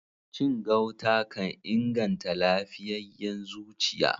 Cin gauta kan inganta lafiyayen zuciya.